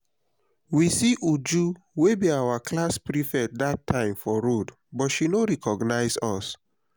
we see uju wey be our class prefect dat time for road but she no recognize us